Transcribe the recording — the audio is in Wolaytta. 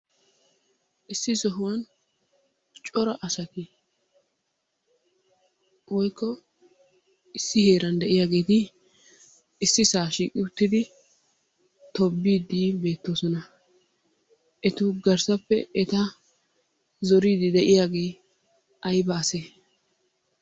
Issi sohuwan cora asati woykko issi heeran de'iyageeti ississaa shiiqqi uttidi tobbiidi beettoosona. Etu garssappe eta zoriidi de'iyagee ayba ase?